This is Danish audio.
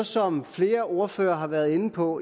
som flere ordførere har været inde på